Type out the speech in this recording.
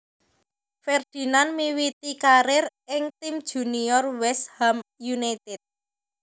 Ferdinand miwiti karier ing tim junior West Ham United